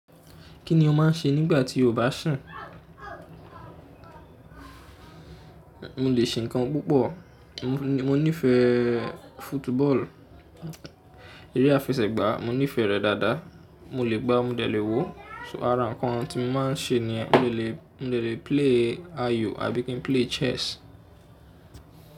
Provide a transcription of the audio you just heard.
Kí ni o máà ń ṣe nígbà tí o bá sun? Mo lè se nǹkan púpọ̀. Mo nífẹ̀ẹ́ football, eré àfẹsẹ̀gbá mo nífẹ̀ẹ́ rẹ̀ dáadáa. Mo lè gbá, mo dé lè wò. So ara nǹkan tí mo máa ń ṣe niyen mo lè, mo de lè play ayò àbí kí n play chess.